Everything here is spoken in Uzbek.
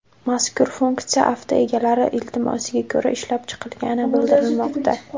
Mazkur funksiya avto egalari iltimosiga ko‘ra ishlab chiqilgani bildirilmoqda.